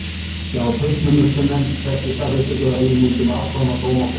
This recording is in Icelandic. Hjá Fullnustumatsnefnd fékk ég staðfestingu á því að við myndum afplána dóma okkar samtímis.